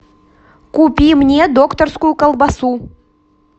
купи мне докторскую колбасу